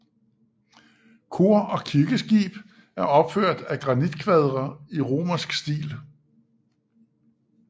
Kor og kirkeskib er opført af granitkvadre i romansk stil